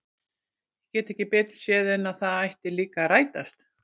Ég get ekki betur séð en að það ætli líka að rætast!